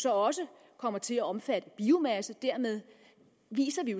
også kommer til at omfatte biomasse dermed viser vi